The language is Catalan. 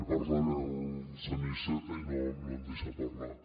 va parlant el senyor iceta i no em deixa parlar